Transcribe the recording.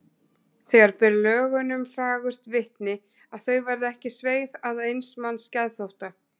Það ber lögunum fagurt vitni að þau verða ekki sveigð að eins manns geðþótta.